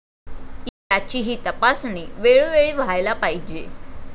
याचीही तपासणी वेळोवेळी व्हायला पाहिजे.